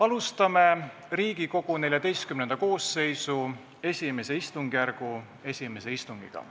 Alustame Riigikogu XIV koosseisu I istungjärgu esimest istungit.